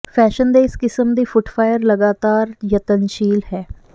fashion ਦੇ ਇਸ ਕਿਸਮ ਦੀ ਫੁੱਟਫਾਇਰ ਲਗਾਤਾਰ ਯਤਨਸ਼ੀਲ ਹੈ